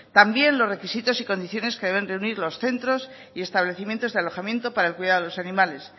también los requisitos y condiciones que deben reunir los centros y establecimientos de alojamiento para el cuidado de los animales